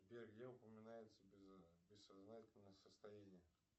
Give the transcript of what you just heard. сбер где упоминается бессознательное состояние